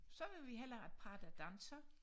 Så vil vi hellere have et par der danser